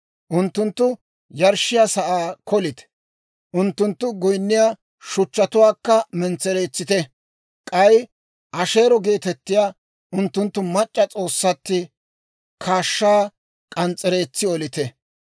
Unttunttu yarshshiyaa sa'aa kolite; unttunttu goynniyaa shuchchatuwaakka mentsereetsite; k'ay Asheero geetettiyaa unttunttu mac'c'a s'oossatti kaashshaa k'ans's'ereetsi olite.